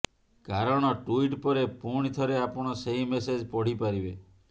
କାରଣ ଟ୍ୱିଟ୍ ପରେ ପୁଣି ଥରେ ଆପଣ ସେହି ମେସେଜ ପଢିପାରିବେ